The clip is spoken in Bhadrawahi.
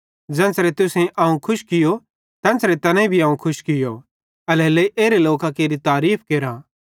ज़ेन्च़रे तुसेईं अवं खुश कियो तेन्च़रे तैनेईं भी अवं खुश कियो एल्हेरेलेइ एरे लोकां केरि तारीफ़ केरा